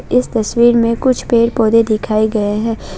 इस तस्वीर में कुछ पेड़ पौधे दिखाए गए हैं।